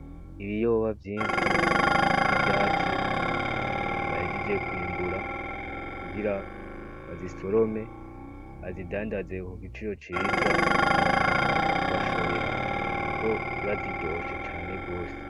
Ibiyoba vyinshi z'ivyatsi bayajije kwimbura kugira baza i sorome azidandaziwe ku giciro ciza abantu bakaza kubashorera, kuko ziba ziryoshe cane rwose.